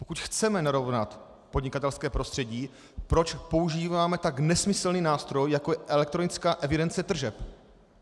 Pokud chceme narovnat podnikatelské prostředí, proč používáme tak nesmyslný nástroj, jako je elektronická evidence tržeb?